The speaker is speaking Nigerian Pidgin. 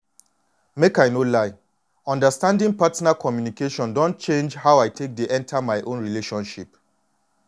make i no lie understanding partner communication don change how i take dey enter my own relationships.